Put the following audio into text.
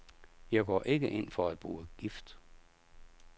Jeg går ikke ind for at bruge gift.